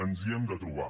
ens hi hem de trobar